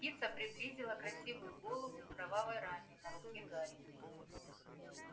птица приблизила красивую голову к кровавой ране на руке гарри